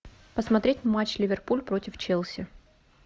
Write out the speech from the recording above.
посмотреть матч ливерпуль против челси